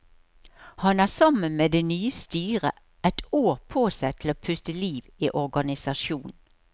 Han har sammen med det nye styret et år på seg til å puste liv i organisasjonen.